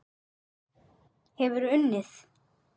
Hefurðu unnið?